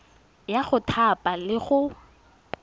ya go thapa le go